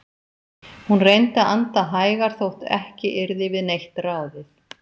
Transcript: Hún reyndi að anda hægar þótt ekki yrði við neitt ráðið.